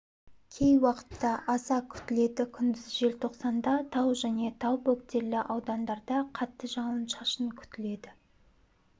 кей уақытта аса күтіледі күндіз желтоқсанда тау және тау бөктерлі аудандарда қатты жауын-шашын күтіледі